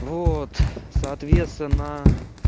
вот соответственно